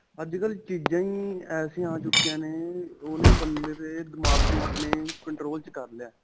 ਅੱਜਕਲ੍ਹ ਚੀਜ਼ਾ ਹੀ ਐਸੀਆਂ ਆ ਚੁੱਕਿਆਂ ਨੇ ਓਓ ਓਹਨੇ ਬੰਦੇ ਤੇ ਦਿਮਾਗ ਨੂੰ ਆਪਣੇ control ਵਿੱਚ ਕਰ ਲਿਆ ਹੈ.